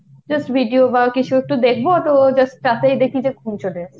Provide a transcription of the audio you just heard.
just video বা কিছু একটু দেখব তো just তাতেই দেখি যে ঘুম চলে এসেছে।